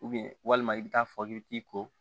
walima i bɛ taa fɔ k'i bɛ t'i ko